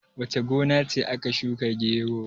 wace gona ce aka shuka gero?